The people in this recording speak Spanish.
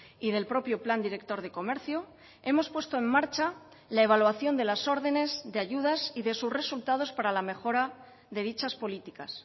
y del propio plan director de comercio hemos puesto en marcha la evaluación de las órdenes de ayudas y de sus resultados para la mejora de dichas políticas